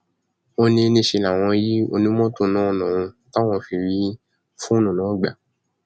ó ní níṣẹ làwọn yin onímọtò náà lọrùn táwọn fi rí fóònù náà gbà